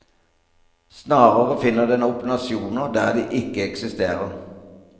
Snarere finner den opp nasjoner der de ikke eksisterer.